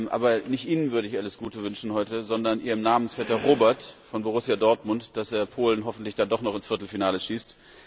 Aber nicht Ihnen würde ich heute alles Gute wünschen, sondern Ihrem Namensvetter Robert von Borussia Dortmund, dass er Polen hoffentlich dann doch noch ins Viertelfinale schießt.